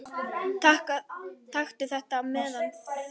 Taktu það með þér núna!